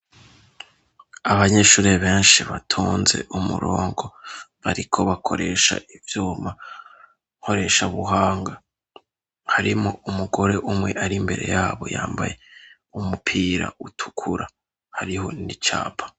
Abanyeshuri benshi batonze umurongo bariko bakoresha ivyuma nkoresha buhanga harimwo umugore umwe ari mbere yabo yambaye umupira utukura hariho n'icapa.